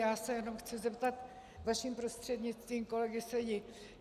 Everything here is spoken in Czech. Já se jenom chci zeptat vaším prostřednictvím kolegy Sedi.